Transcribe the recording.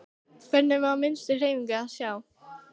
Hvergi var minnstu hreyfingu að sjá.